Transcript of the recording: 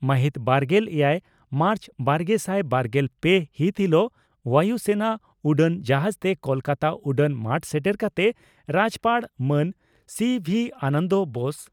ᱢᱟᱦᱤᱛ ᱵᱟᱨᱜᱮᱞ ᱮᱭᱟᱭ ᱢᱟᱨᱪᱵᱟᱨᱜᱮᱥᱟᱭ ᱵᱟᱨᱜᱮᱞ ᱯᱮ ᱦᱤᱛ ᱦᱤᱞᱚᱜ ᱵᱟᱹᱭᱩ ᱥᱮᱱᱟ ᱩᱰᱟᱹᱱ ᱡᱟᱦᱟᱡᱽᱛᱮ ᱠᱚᱞᱠᱟᱛᱟ ᱩᱰᱟᱹᱱ ᱢᱟᱴ ᱥᱮᱴᱮᱨ ᱠᱟᱛᱮ ᱨᱟᱡᱭᱚᱯᱟᱲ ᱢᱟᱱ ᱥᱤᱹᱵᱷᱤ ᱟᱱᱚᱱᱫᱚ ᱵᱳᱥ